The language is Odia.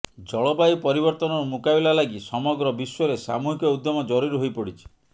ଜଳବାୟୁ ପରିବର୍ତ୍ତନର ମୁକାବିଲା ଲାଗି ସମଗ୍ର ବିଶ୍ୱରେ ସାମୁହିକ ଉଦ୍ୟମ ଜରୁରୀ ହୋଇପଡ଼ିଛି